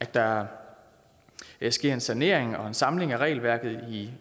der sker en sanering og en samling af regelværket